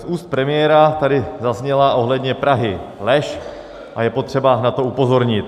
Z úst premiéra tady zazněla ohledně Prahy lež a je potřeba na to upozornit.